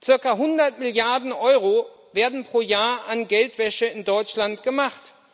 Zirka 100 Milliarden Euro werden pro Jahr an Geldwäsche in Deutschland gemacht.